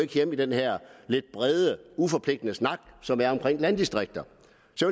hjemme i den her lidt brede uforpligtende snak som der er landdistrikter